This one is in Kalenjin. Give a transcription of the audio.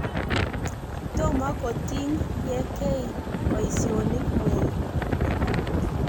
Tomo kotiny ye kei poisyonik mweik.